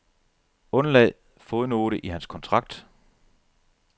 Undlad fodnote i hans kontrakt.